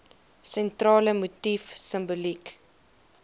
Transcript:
sentrale motief simboliek